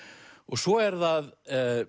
svo er það